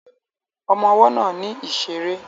Ọmọ ọwọ́ náà ní ìṣeré